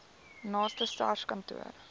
naaste sars kantoor